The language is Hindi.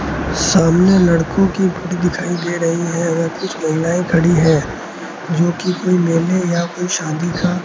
सामने लड़कों की फोटो दिखाई दे रही है अगर कुछ महिलाएं खड़ी है जो कि कोई लेने या कोई शादी का --